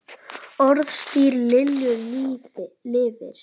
Orðstír Lilju lifir.